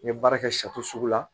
N ye baara kɛ sugu la